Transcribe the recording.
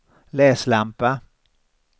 läslampa